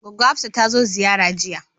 Goggo Hafsat tazo ziyara jiya